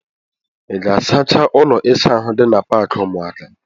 Ị ga-asacha ụlọ ịsa ahụ dị na paakị ụmụaka?